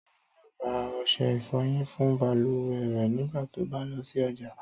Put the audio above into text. Táyọ̀ yóò ra ọṣẹ ìfọyín fún balùwẹ̀ rẹ̀ nígbà tó bá lọ sí ọjà